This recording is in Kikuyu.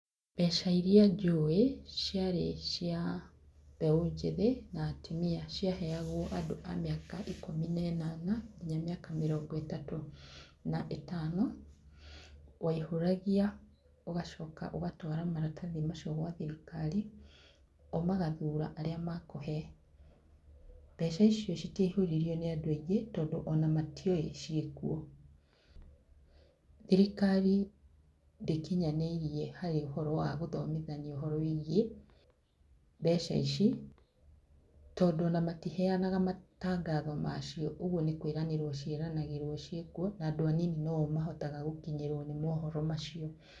Mbeca iria njũĩ, ciarĩ cia mbeũ njĩthĩ, na atumia. Ciaheagwo andũ a mĩaka ikũmi na inana, nginya mĩaka mĩrongo ĩtatũ na ĩtano. Waihũragia ũgacoka ũgatwara maratathi macio gwa thirikari, o magathura arĩa makũhe. Mbeca icio citiaihũririo nĩ andũ aingĩ tondũ ona matioĩ cĩikuo. Thirikari ndĩkinyanĩirie harĩ ũhoro wa gũthomithania ũhoro wĩgiĩ mbeca ici, tondũ onamatiheanaga matangatho macio. Ũguo nĩkwĩranĩrwo ciĩranagĩrwo cĩikuo, na andũ anini no o mahotaga gũkinyĩruo nĩ mohoro macio.